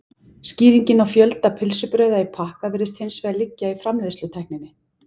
Skýringin á fjölda pylsubrauða í pakka virðist hins vegar liggja í framleiðslutækninni.